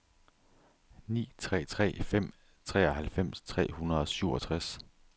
ni tre tre fem treoghalvfems tre hundrede og syvogtres